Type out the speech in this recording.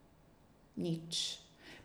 Nič.